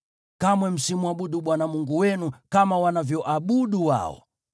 Kamwe msimwabudu Bwana Mungu wenu kama wanavyoabudu wao.